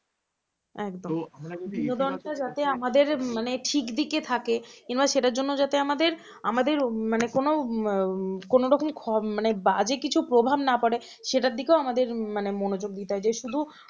দিকে থাকে কিংবা সেটার জন্য যাতে আমাদের আমাদের মানে কোন কোনরকম বাজে কিছু প্রভাব না পড়ে সেটার দিকেও আমাদের মানে মনোযোগ দিতে হবে যে শুধু